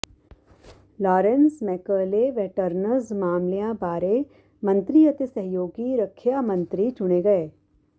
Lawrence McAuley veterans ਮਾਮਲਿਆਂ ਬਾਰੇ ਮੰਤਰੀ ਅਤੇ ਸਹਿਯੋਗੀ ਰੱਖਿਆ ਮੰਤਰੀ ਚੁਣੇ ਗਏ